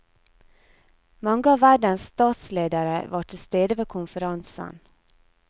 Mange av verdens statsledere var til stede ved konferansen.